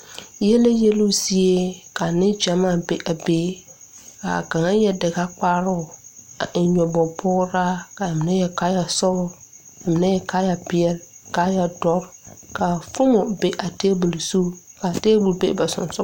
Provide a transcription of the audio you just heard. Yɛlɛ yeloo zie ka neŋ gyamaa be a be kaa kaŋa yɛre dagakparoo a eŋ nyoboge pograa kaa mine yɛre kaayɛ sɔglɔ ka mine yɛre kaayɛ peɛle kaayɛ dɔre kaayɛ kaa foomo be a tabol zu kaa tabol be ba siŋsug.